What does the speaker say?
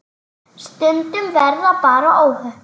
Stundum verða bara óhöpp.